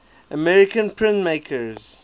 american printmakers